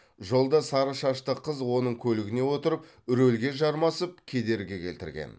жолда сары шашты қыз оның көлігіне отырып рөлге жармасып кедергі келтірген